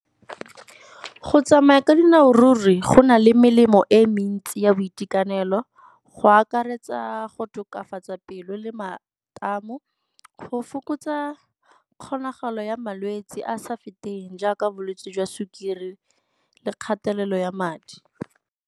Go tsamaya ka dinao ruri go na le melemo e mentsi ya boitekanelo, go akaretsa go tokafatsa pelo le matamo, go fokotsa kgonagalo ya malwetse a sa feteng jaaka bolwetse jwa sukiri le kgatelelo ya madi.